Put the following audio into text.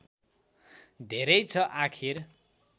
धेरै छ आखिर